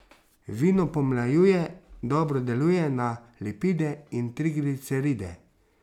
Vino pomlajuje, dobro deluje na lipide in trigliceride.